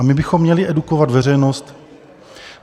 A my bychom měli edukovat veřejnost.